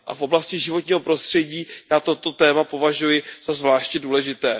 A v oblasti životního prostředí já toto téma považuji za zvláště důležité.